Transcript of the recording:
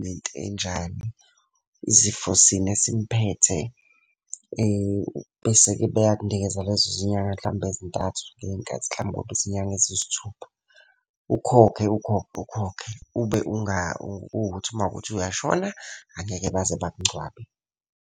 nento enjani, izifo sini esimphethe. Bese-ke beyakunikeza lezo zinyanga hlampe ezintathu, ngenye inkathi hlampe kube izinyanga eziyisithupha. Ukhokhe ukhokhe, ukhokhe kukuthi uma kuwukuthi uyashona, angeke baze bakungcwabe.